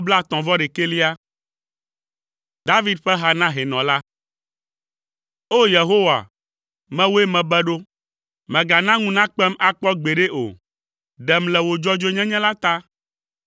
David ƒe ha na hɛnɔ la. O! Yehowa, mewòe mebe ɖo; mègana ŋu nakpem akpɔ gbeɖe o; ɖem le wò dzɔdzɔenyenye la ta.